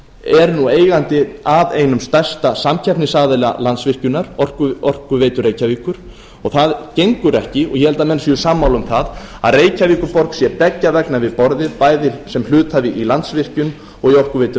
er nú eigandi að einum stærsta samkeppnisaðila landsvirkjunar orkuveitu reykjavíkur það gengur ekki og ég held að menn séu sammála um það að reykjavíkurborg sé beggja vegna við borðið bæði sem hluthafi í landsvirkjun og í orkuveitu